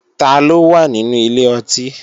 Taló wà nínú ilé ọtí?